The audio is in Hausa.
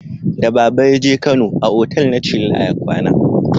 Da baba ya je kano, a otal na chilla ya kwana